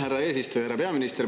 Härra peaminister!